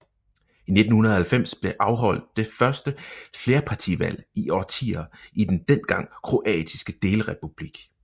I 1990 blev afholdt det første flerpartivalg i årtier i den dengang kroatiske delrepublik